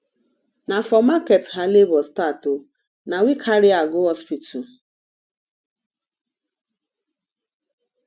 na for market her labor start o na we carry her go hospital